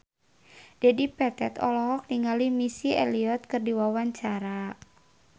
Dedi Petet olohok ningali Missy Elliott keur diwawancara